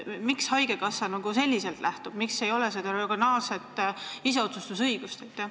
Miks haigekassa selliselt käitub, miks ei ole regionaalset iseotsustusõigust?